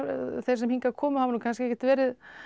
þeir sem hingað komu hafi kannski ekkert verið